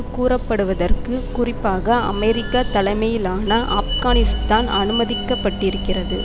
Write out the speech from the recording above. கூறப்படுவதற்கு குறிப்பாக அமெரிக்கா தலைமையிலான ஆப்கானிஸ்தான் அனுமதிக்கப்பட்டிருக்கிறது